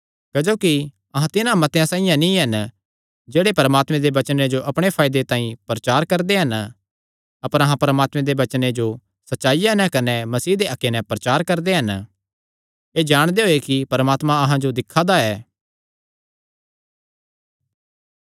क्जोकि अहां तिन्हां मतेआं साइआं नीं हन जेह्ड़े परमात्मे दे वचने जो अपणे फायदे तांई प्रचार करदे हन अपर अहां परमात्मे दे वचने जो सच्चाईया नैं कने मसीह दे हक्के नैं प्रचार करदे हन एह़ जाणदे होये कि परमात्मा अहां जो दिक्खा दा ऐ